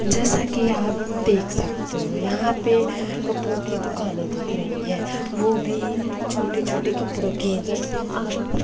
जैसा कि आप देख सकते हो यहां पे कपड़ों की दुकाने दिख रही है वो भी छोटे छोटे कपड़ों के जैसा आप--